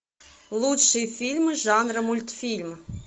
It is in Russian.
лучшие фильмы жанра мультфильм